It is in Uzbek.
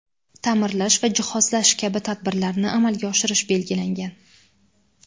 ta’mirlash va jihozlash kabi tadbirlarni amalga oshirish belgilangan.